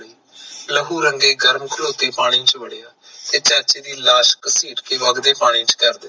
ਲਹੂ ਰੰਗੇ ਗਰਮ ਤੇਹੋਤੇ ਪਾਣੀ ਚ ਵੜ੍ਹਿਆ, ਤੇ ਚਾਚੇ ਦੀ ਲਾਸ ਕਸੀਟ ਕੇ ਵਗਦੇ ਪਾਣੀ ਚ ਕੱਢ ਦਿੱਤੀ